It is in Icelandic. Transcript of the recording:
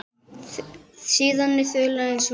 Síðari þulan er svona